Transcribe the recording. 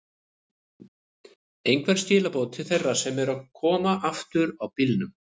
Einhver skilaboð til þeirra sem eru að koma aftur á bílum?